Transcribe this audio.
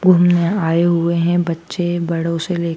घूमने आए हुए है बच्चे बड़ों से लेके--